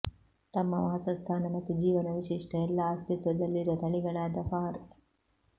ತಮ್ಮ ವಾಸಸ್ಥಾನ ಮತ್ತು ಜೀವನ ವಿಶಿಷ್ಟ ಎಲ್ಲಾ ಅಸ್ತಿತ್ವದಲ್ಲಿರುವ ತಳಿಗಳಾದ ಫಾರ್